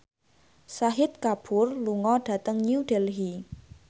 Shahid Kapoor lunga dhateng New Delhi